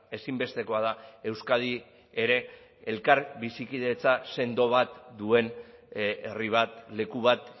ezinbestekoa da euskadi ere elkar bizikidetza sendo bat duen herri bat leku bat